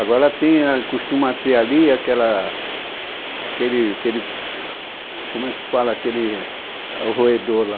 Agora tem... Costuma ter ali aquela... Aquela, Aquele... Como é que se fala aquele roedor lá?